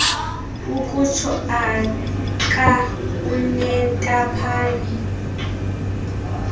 ukutsho aka unentaphane